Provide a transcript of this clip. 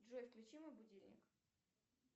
джой включи мой будильник